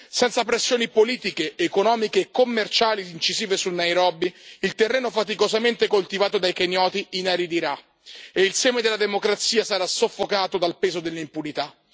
Senza pressioni politiche, economiche e commerciali incisive su Nairobi il terreno faticosamente coltivato dai kenyoti inaridirà e il seme della democrazia sarà soffocato dal peso dell'impunità.